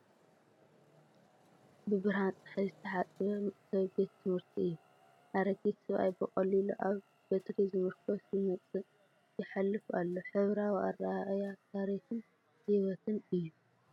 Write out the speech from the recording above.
ብብርሃን ጸሓይ ዝተሓጽበ መእተዊ ቤት ትምህርቲ እዩ። ኣረጊት ሰብኣይ ብቐሊሉ ኣብ በትሪ ዝምርኮስ ይመጽእ/ ይሓልፍ ኣሎ፤ ሕብራዊ ኣረኣእያ ታሪኽን ህይወትን እዩ።